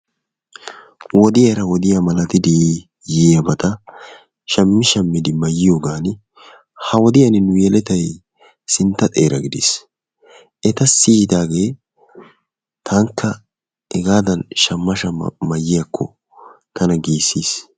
Wodiyaara wodiyaa malatdi yiiyaabata shammi shammidi mayyiyoogaan ha wodiyan nu yelettay sintta xeera gidiis. Eta siyidaagee taanikka hegaadan shamma shamma mayyiyakko tana gissiis.